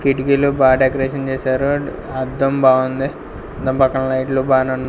కిటికీలు బా డెకరేషన్ చేశారు అండ్ అద్దం బావుంది దాని పక్కన లైట్లు బానే వున్ --